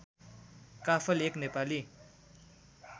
काफल एक नेपाली